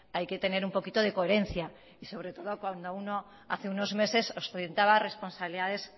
hay que tener un poquito de coherencia y sobre todo cuando uno hace unos meses ostentaba responsabilidades